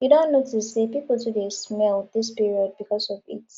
you don notice sey pipo too dey smell dis period because of heat